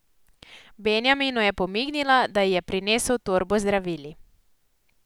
Benjaminu je pomignila, da ji je prinesel torbo z zdravili.